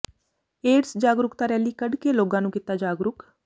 AIDS ਜਾਗਰੂਕਤਾ rally ਕੱਢ ਕੇ ਲੋਕਾਂ ਨੂੰ ਕੀਤਾ ਜਾਗਰੂਕ